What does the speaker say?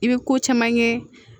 I bɛ ko caman kɛ